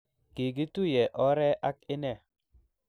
kikituye ore ak inne.